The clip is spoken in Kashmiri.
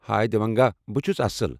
ہاے دیوانگا! بہٕ چھٗس اصل